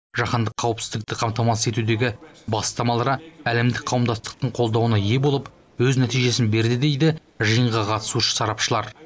жаһандық қауіпсіздікті қамтамасыз етудегі бастамалары әлемдік қауымдастықтың қолдауына ие болып өз нәтижесін берді дейді жиынға қатысушы сарапшылар